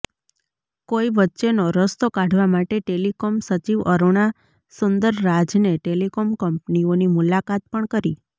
કોઈ વચ્ચેનો રસ્તો કાઢવા માટે ટેલીકોમ સચિવ અરૂણા સુંદરરાજને ટેલીકોમ કંપનીઓની મુલાકાત પણ કરી